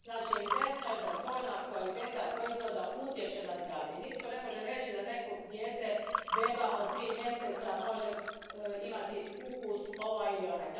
Znači, evidentno je da dvojna kvaliteta proizvoda utječe na zdravlje i nitko ne može reći da neko dijete, beba od tri mjeseca, može imati ukus ovaj ili onaj.